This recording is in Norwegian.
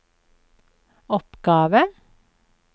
oppgave